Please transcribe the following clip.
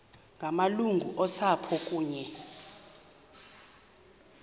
ngamalungu osapho kunye